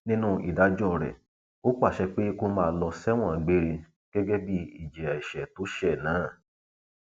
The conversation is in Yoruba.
nínú ìdájọ rẹ ó pàṣẹ pé kó máa lọ sẹwọn gbére gẹgẹ bí ìjìyà ẹṣẹ tó ṣẹ náà